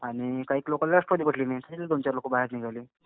आणि काहीक लोकांना राष्ट्रवादी पटली नाही. त्यातले दोनचार लोकं बाहेर निघाले.